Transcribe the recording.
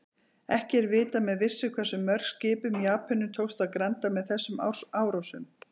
Ekki er vitað með vissu hversu mörgum skipum Japönum tókst að granda með þessum árásum.